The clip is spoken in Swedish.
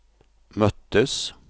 möttes